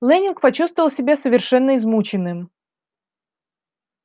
лэннинг почувствовал себя совершенно измученным